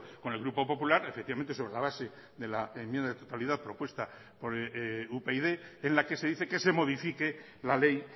con el grupo popular efectivamente sobre la base de la enmienda de totalidad propuesta por upyd en la que se dice que se modifique la ley